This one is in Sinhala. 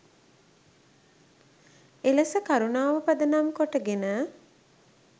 එලෙස කරුණාව පදනම් කොටගෙන